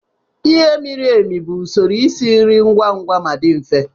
Ighe miri emi bụ usoro esi nri ngwa ngwa ma dị mfe